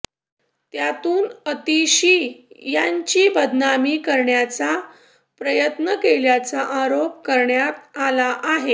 त्यातून आतिशी यांची बदनामी करण्याचा प्रयत्न केल्याचा आरोप करण्यात आला आहे